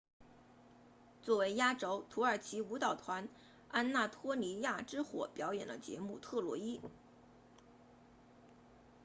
作为压轴土耳其舞蹈团安纳托利亚之火表演了节目特洛伊